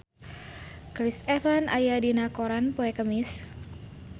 Chris Evans aya dina koran poe Kemis